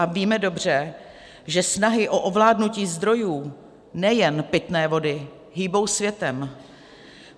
A víme dobře, že snahy o ovládnutí zdrojů nejen pitné vody hýbou světem.